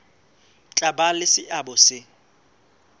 tla ba le seabo se